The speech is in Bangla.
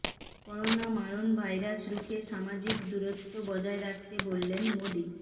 করোনা মারণভাইরাস রুখে সামাজিক দূরত্ব বজায় রাখতে বললেন মোদি